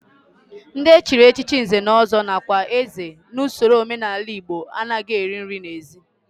Ndị e chiri echichi nze na ọzọ nakwa eze n'usoro omenala Igbo anaghị eri nri n'ezi